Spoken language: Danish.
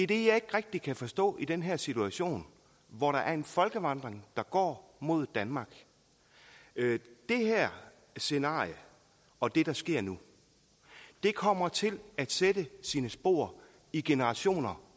det jeg ikke rigtig kan forstå i den her situation hvor der er en folkevandring der går mod danmark det her scenarie og det der sker nu kommer til at sætte sine spor i generationer